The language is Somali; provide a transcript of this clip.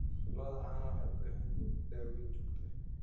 Lo'da caanaha waxay u baahan yihiin daaweyn joogto ah.